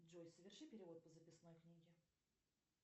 джой соверши перевод по записной книге